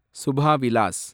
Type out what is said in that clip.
Subha Vilas